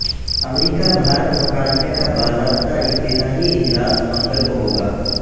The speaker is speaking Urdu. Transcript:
امریکہ بھارت مکالمے کا باضابطہ افتتاحی اجلاس منگل کو ہوگا